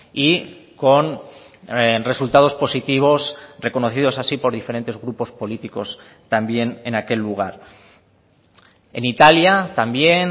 y con resultados positivos reconocidos así por diferentes grupos políticos también en aquel lugar en italia también